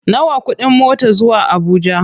Nawa kuɗin mota zuwa Abuja?